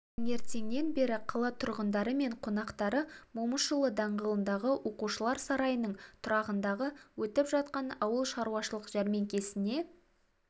таңертеңнен бері қала тұрғындары мен қонақтары момышұлы даңғылындағы оқушылар сарайының тұрағында өтіп жатқан ауыл шаруашылық жәрмеңкесіне